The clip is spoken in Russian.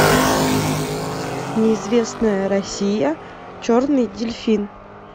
неизвестная россия черный дельфин